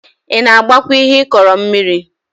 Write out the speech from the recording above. Ị na-agbakwa ihe ịkọrọ mmiri?